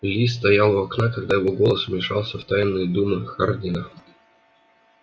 ли стоял у окна когда его голос вмешался в тайные думы хардина